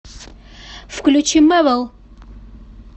включи мэвл